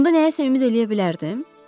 Onda nəyəsə ümid eləyə bilərdim?